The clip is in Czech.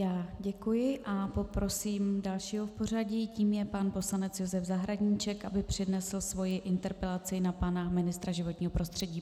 Já děkuji a poprosím dalšího v pořadí, tím je pan poslanec Josef Zahradníček, aby přednesl svoji interpelaci na pana ministra životního prostředí.